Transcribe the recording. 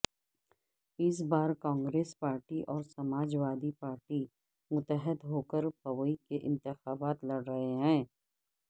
اس بار کانگریس پارٹی اور سماجوادی پارٹی متحد ہوکر پوی کے انتخابات لڑ رہے ہیں